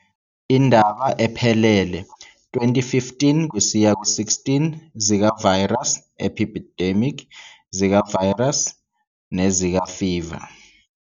Indaba ephelele- 2015-16 Zika virus epidemic, Zika virus, and Zika fever